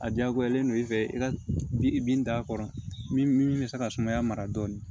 A diyagoyalen don i fɛ i ka i bin da a kɔrɔ min bɛ se ka sumaya mara dɔɔnin